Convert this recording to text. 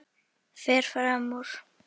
Fer fram úr.